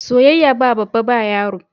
Soyayya ba babba ba yaro.